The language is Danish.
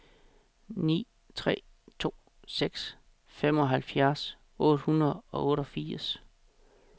ni tre to seks femoghalvfjerds otte hundrede og otteogfirs